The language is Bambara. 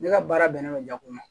Ne ka baara bɛnnen bɛ jaa kun ma